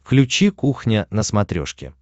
включи кухня на смотрешке